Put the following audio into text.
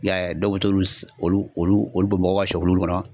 I y'a ye a dɔw be ta olu s olu olu olu bɔn mɔgɔw ka sɛ kulukulu kɔnɔ